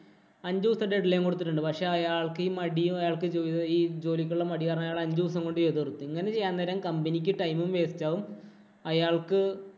അഞ്ചു ദിവസത്തെ deadline കൊടുത്തിട്ടുണ്ട്. പക്ഷേ അയാള്‍ക്ക് മടിയും, അയാള്‍ക്ക് ഈ ജോലിക്കുള്ള മടികാരണം അയാള് അഞ്ചു ദിവസം കൊണ്ട് ചെയ്തു തീര്‍ത്തു. ഇങ്ങനെ ചെയ്യാന്‍ നേരം company ക്ക് time ഉം, waste ആവും. അയാള്‍ക്ക്